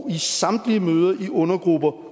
i samtlige møder i undergrupper